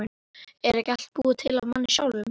Er ekki allt búið til af manni sjálfum?